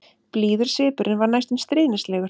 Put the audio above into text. Blíður svipurinn var næstum stríðnislegur.